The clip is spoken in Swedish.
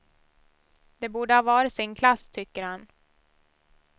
De borde ha var sin klass, tycker han.